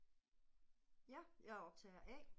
Ja, jeg er optager A